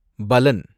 பலன்